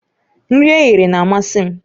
Nri eghere na-amasị m